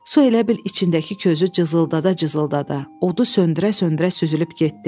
Su elə bil içindəki közü cızıldada-cızıldada odu söndürə-söndürə süzülüb getdi.